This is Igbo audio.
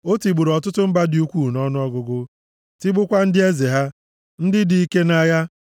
O tigburu ọtụtụ mba dị ukwuu nʼọnụọgụgụ, tigbukwaa ndị eze ha, ndị dị ike nʼagha.